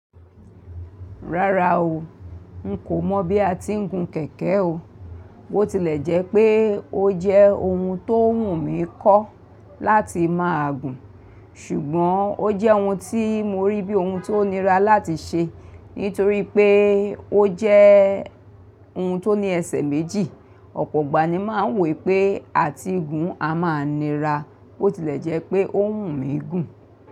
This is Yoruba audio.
Rárá o, n kò mọ̀ bí a ti ń gun kẹ̀kẹ́ o. Bó tilẹ̀ jẹ́ pé ó jẹ́ ohun tó wùn mí kọ́ láti máa gùn, ṣùgbọ́n ó jẹ́ ohun tí mo rí bí ohun tó nira láti ṣe nítorí pé ó jẹ́ ohun tó ní ẹsẹ̀ méjì. Ọ̀pọ̀ gbàní máa ń wí pé à ti gùn a máa nira, bó tilẹ̀ jẹ́ pé ó wùn mí gùn.